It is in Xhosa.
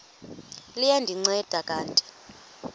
liya ndinceda kanti